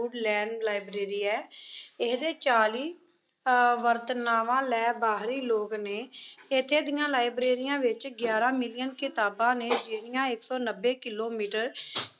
ਬੂਡ lane library ਏ। ਇਹਦੇ ਚਾਲੀ ਅਹ ਵਰਤਣਵਾ ਲੈ ਬਾਹਰੀ ਲੋਕ ਨੇਂ। ਇੱਥੇ ਦੀਆਂ ਲਾਈਬ੍ਰੇਰੀਆਂ ਵਿੱਚ ਗਿਆਰਾਂ million ਕਿਤਾਬਾਂ ਨੇ ਜਿਹੜੀਆਂ ਇਕ ਸੋਂ ਨੱਬੇ ਕਿਲੋਮੀਟਰ